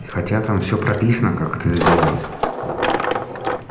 хотя там всё прописано как это сделать